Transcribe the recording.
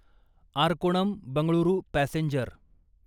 Arakkonam Bengaluru passenger